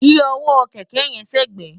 yí ọwọ́ kẹ̀kẹ́ yẹn sẹ́gbẹ̀ẹ̀!